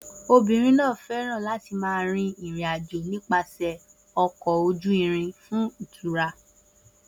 Obìnrin náà fẹ́ràn láti máa rin ìrìn-àjò nípasẹ̀ ọkọ̀ ojú irin fún ìtura.